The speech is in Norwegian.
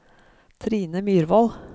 Trine Myrvold